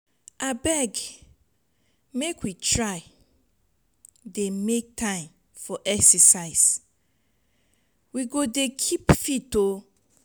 abeg make we try dey make time for exercise we go dey keep fit oo.